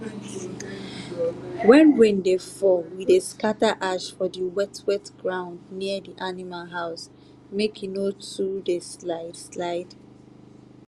when rain dey fall we dey scatter ash for di wet-wet ground near di animal house make e no too dey slide-slide.